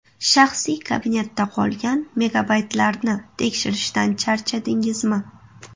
Shaxsiy kabinetda qolgan megabaytlarni tekshirishdan charchadingizmi?